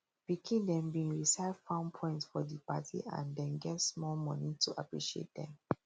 pikin dem bin recite farm poems for di party and dem get small money to appreciate dem